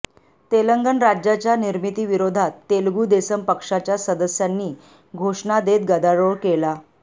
तेलंगण राज्याच्या निर्मितीविरोधात तेलगू देसम पक्षाच्या सदस्यांनी घोषणा देत गदारोळ केला